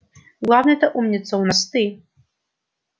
главный-то умница у нас ты